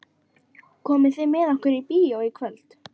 Komið þið með okkur í bíó í kvöld?